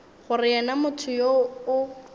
gore yena motho yoo o